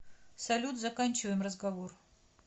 салют заканчиваем разговор